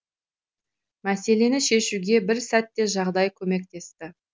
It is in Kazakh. мәселені шешуге бір сәтте жағдай көмектесті